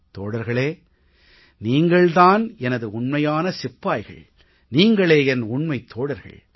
தோழர்களே நீங்கள் தான் எனது உண்மையான சிப்பாய்கள் நீங்களே என் உண்மைத் தோழர்கள்